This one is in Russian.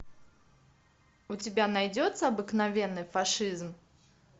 у тебя найдется обыкновенный фашизм